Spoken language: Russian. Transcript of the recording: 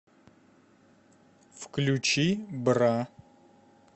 включи бра